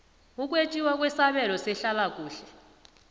ukwetjiwa kwesabelo sehlalakuhle